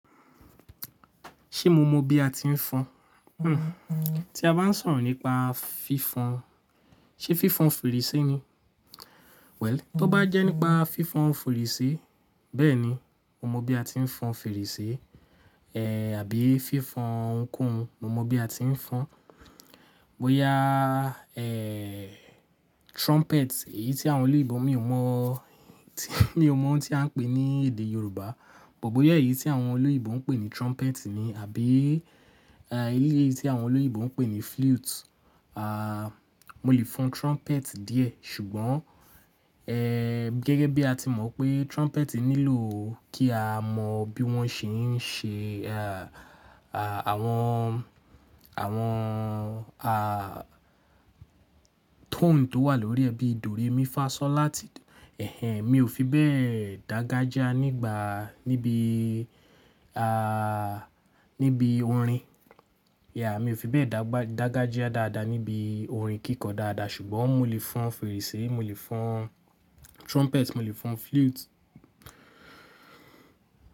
Ṣé mo mọ bí a ti ń fọn? Hmm, tí a bá ń sọ̀rọ̀ nípa fífon, ṣe fífon fèrèsé ni? Well, tó bá jẹ́ nípa fífan fèrèsé, bẹ́ẹ̀ni, mo mọ bí a ti ń fọn fèrèsé, ẹ́ àbí fífon ohunkóhun, mo mọ bí a ti ń fọn. Boya, trumpet, èyí tí àwọn olóyinbo mi ò mọ̀, mi ò mọ̀ ohun tí à ń pè ní èdè Yorùbá, but boya èyí tí àwọn olóyinbo ń pè ní trumpet ni àbí, ẹ́, eléyí tí àwọn olóyinbo ń pè ní flute. À, mo lè fọn trumpet díẹ̀ ṣùgbọ́n, gẹ́gẹ́ bí a ti mọ̀ pé trumpet nílò kí a mọ bí wọ́n ṣe ń ṣe, ẹ́, àwọn, àwọn, à, tone tó wà lórí ẹ̀ bíi Do Re Mi Fa So La Ti, ẹ́, mi ò fi bẹ́ẹ̀ dángajiá nígbà, níbi, à, níbi orin. Yeah, mi ò fi bẹ́ẹ̀ dángajiá dáadáa níbi orin kíkọ dáadáa ṣùgbọ́n mo lè fọn fèrèsé, mo lè fọn trumpet, mo lè fọn flute.